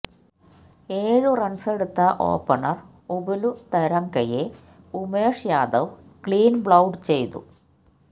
ഏഴു റണ്സെടുത്ത ഓപണര് ഉപുല് തരംഗയെ ഉമേഷ് യാദവ് ക്ലീന് ബൌള്ഡ് ചെയ്തു